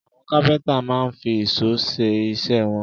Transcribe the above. Àwọn kápẹ́ńtà máa ń fi ìṣó ṣe iṣẹ́ wọn.